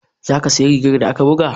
Za ki siya rigar da aka buga?